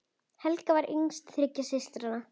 Helga var yngst þriggja systra.